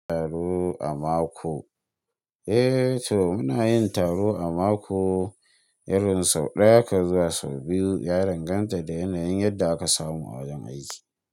Taro a mako. Eh to muna yin taro a mako, irin sau ɗaya ka zuwa sau biyu ya danganta da yanayin yadda aka samu a wajen aiki.